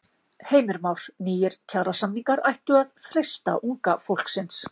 Heimir Már: Nýir kjarasamningar ættu að freista unga fólksins?